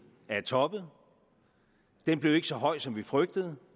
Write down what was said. har toppet den blev ikke så høj som vi frygtede